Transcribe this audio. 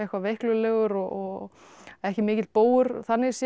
veiklulegur og ekki mikill bógur þannig séð